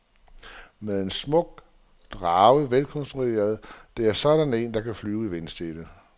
Men en smuk drage, velkonstrueret, det er sådan en, der kan flyve i vindstille.